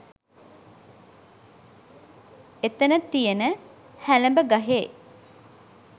එතන තියෙන හැලඹ ගහේ